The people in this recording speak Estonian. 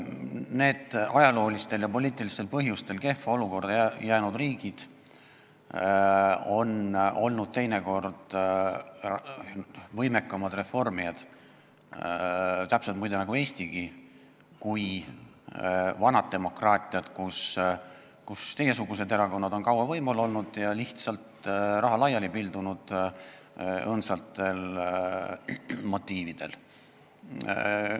Need ajaloolistel ja poliitilistel põhjustel kehva olukorda jäänud riigid on olnud teinekord võimekamad reformijad – täpselt nagu Eestigi, muide – kui vanad demokraatiad, kus teie erakonna sarnased erakonnad on kaua võimul olnud ja õõnsatel motiividel lihtsalt raha laiali pildunud.